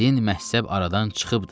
Din məhzəb aradan çıxıbdır.